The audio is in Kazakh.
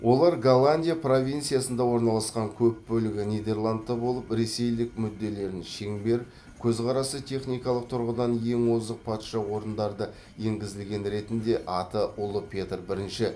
олар голландия провинциясында орналасқан көп бөлігі нидерландта болып ресейлік мүдделерін шеңбер көзқарасы техникалық тұрғыдан ең озық патша орындарды енгізілген ретінде аты ұлы петр бірінші